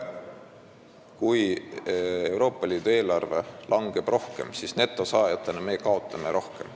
Kui Euroopa Liidu eelarve maht langeb, siis me kaotame netosaajana rohkem.